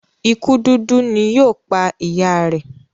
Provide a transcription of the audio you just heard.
ikú dúdú ní yíò pá ìyá rẹ.